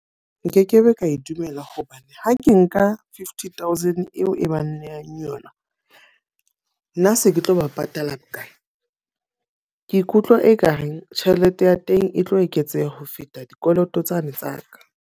Nkekebe ka e dumela hobane ha ke nka fifty thousand eo e bang nnehang yona. Nna se ke tlo ba patala bokae? Ke ikutlwa e ka reng tjhelete ya teng e tlo eketseha ho feta dikoloto tsane tsa ka.